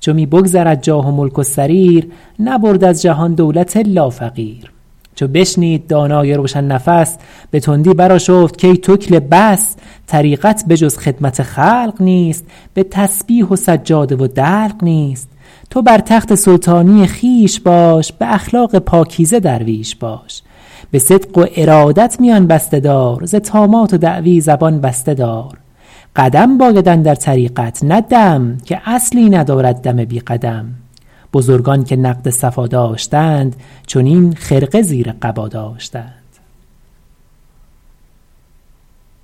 چو می بگذرد جاه و ملک و سریر نبرد از جهان دولت الا فقیر چو بشنید دانای روشن نفس به تندی برآشفت کای تکله بس طریقت به جز خدمت خلق نیست به تسبیح و سجاده و دلق نیست تو بر تخت سلطانی خویش باش به اخلاق پاکیزه درویش باش به صدق و ارادت میان بسته دار ز طامات و دعوی زبان بسته دار قدم باید اندر طریقت نه دم که اصلی ندارد دم بی قدم بزرگان که نقد صفا داشتند چنین خرقه زیر قبا داشتند